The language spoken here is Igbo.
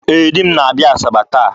Ee, di m na-abịa Asaba taa